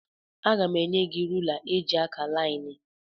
Aga m enye gị rula eji akà laịnị.